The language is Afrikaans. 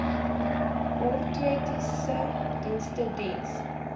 ortotiese dienste diens